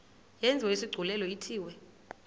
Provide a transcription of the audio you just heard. yenziwe isigculelo ithiwe